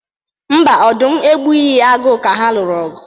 Mba, ọdụm egbughi agụ ka ha lụrụ ọgụ.